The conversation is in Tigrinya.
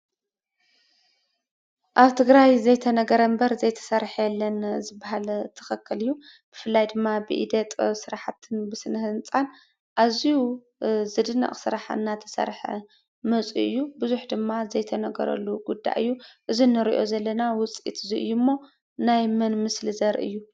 ኣብ ትግራይ ዘይተነገረ እምበር ዘይተሰርሐ የለን ዝብሃል ትኽኽል እዩ፡፡ ብፍላይ ድማ ብኢደ ጥበብ ስራሕቲ ብስነ ህንፃን ኣዝዩ ዝድነቕ ስራሕ እናተሰርሐ መፂኡ እዩ፡፡ ብዙሕ ድማ ዘይተነገረሉ ጉዳይ እዩ፡፡ እዚ እንሪኦ ዘለና ውፅኢት እዚ እዩ እሞ ናይ መን ምስሊ ዘርኢ እዩ ?